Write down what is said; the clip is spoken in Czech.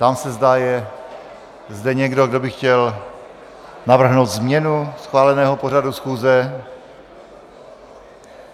Ptám se, zda je zde někdo, kdo by chtěl navrhnout změnu schváleného pořadu schůze.